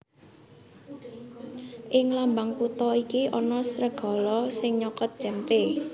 Ing lambang kutha iki ana sregala sing nyokot cempé